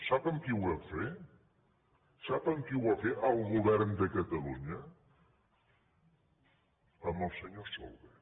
sap amb qui ho vam fer sap amb qui ho va ver el govern de catalunya amb el senyor solbes